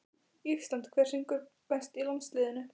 ÍSLAND Hver syngur best í landsliðinu?